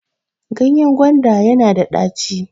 ganyen gwanda yana da daco